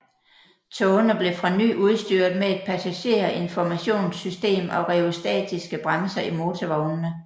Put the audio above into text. Togene blev fra ny udstyret med et passagerinformationssystem og rheostatiske bremser i motorvognene